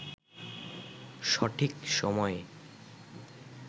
সঠিক সময়ে